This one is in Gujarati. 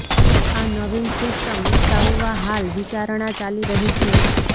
આ નવીન સિસ્ટમ વિકસાવવા હાલ વિચારણા ચાલી રહી છે